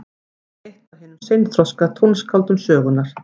Hann var eitt af hinum seinþroska tónskáldum sögunnar.